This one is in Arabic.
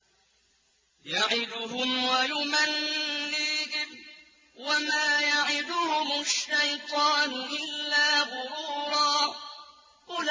يَعِدُهُمْ وَيُمَنِّيهِمْ ۖ وَمَا يَعِدُهُمُ الشَّيْطَانُ إِلَّا غُرُورًا